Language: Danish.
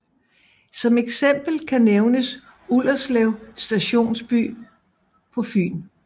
Som eksempel kan nævnes Ullerslev stationsby på Fyn